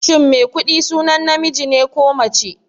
Shin Maikuɗi sunan namiji ne ko mace?